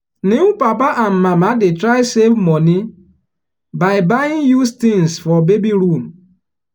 new papa and mama dey try save money by buying used things for baby room.